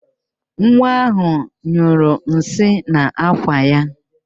Nwa ahụ nyụrụ nsị n'ákwà ya